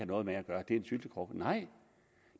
noget med at gøre det er en syltekrukke nej